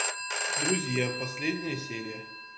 друзья последняя серия